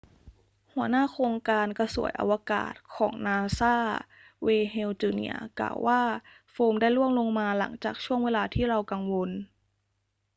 หัวหน้าโครงการกระสวยอวกาศของนาซา เวย์น เฮล จูเนียร์ กล่าวว่าโฟมได้ร่วงลงมา หลังจากช่วงเวลาที่เรากังวล